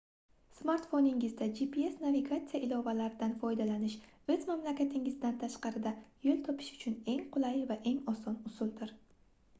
smartfoningizda gps navigatsiya ilovalaridan foydalanish oʻz mamlakatingizdan tashqarida yoʻl topish uchun eng qulay va eng oson usuldir